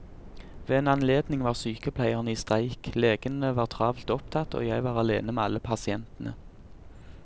Ved en anledning var sykepleierne i streik, legene var travelt opptatt, og jeg var alene med alle pasientene.